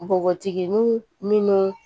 Npogotiginin minnu